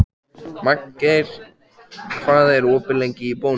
Magngeir, hvað er opið lengi í Bónus?